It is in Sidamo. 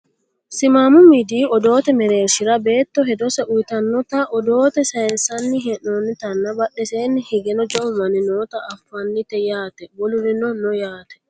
simaamu miidiyu odoote mereershhira beetto hedose uyiitinota odoote sayiinsanni hee'noonnitanna badheseni higeno jawu manni noota afannite yaate wolurino no yaate